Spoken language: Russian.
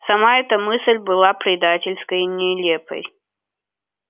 сама эта мысль была предательской и нелепой